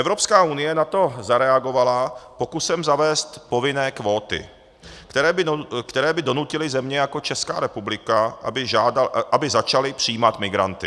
Evropská unie na to zareagovala pokusem zavést povinné kvóty, které by donutily země jako Česká republika, aby začaly přijímat migranty.